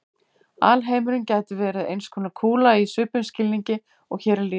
Alheimurinn gæti verið eins konar kúla í svipuðum skilningi og hér er lýst.